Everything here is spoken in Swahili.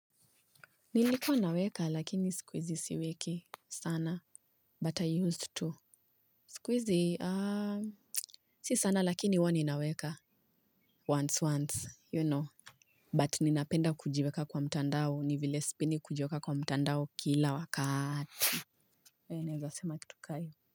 Nilikuwa naweka lakini siku hizi siweki sana But I used to siku hizi ah si sana lakini huwa ninaweka Once once you know But ninapenda kujiweka kwa mtandao ni vile sipendi kujiweka kwa mtandao kila wakati. Wee naeza sema kitu ka hiyo.